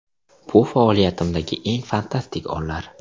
Bu faoliyatimdagi eng fantastik onlar.